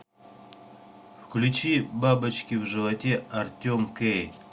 включи бабочки в животе артем кей